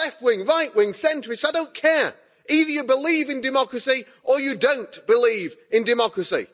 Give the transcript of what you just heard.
Left wing, Right wing, Centrists, I don't care, either you believe in democracy or you don't believe in democracy.